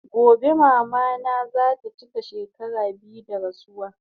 Gobe mama na zata chika shekara biyu da rasuwa